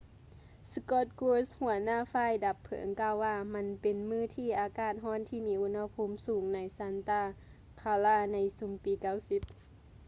scott kouns ຫົວໜ້າຝ່າຍດັບເພີງກ່າວວ່າ ມັນເປັນມື້ທີ່ອາກາດຮ້ອນທີ່ມີອຸນຫະພູມສູງໃນ santa clara ໃນຊຸມປີ 90